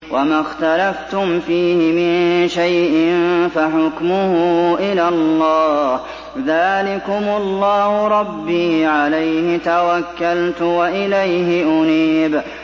وَمَا اخْتَلَفْتُمْ فِيهِ مِن شَيْءٍ فَحُكْمُهُ إِلَى اللَّهِ ۚ ذَٰلِكُمُ اللَّهُ رَبِّي عَلَيْهِ تَوَكَّلْتُ وَإِلَيْهِ أُنِيبُ